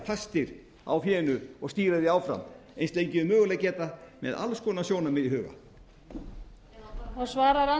fastir á fénu og stýra því áfram eins lengi og þeir mögulega geta með alls konar sjónarmið í huga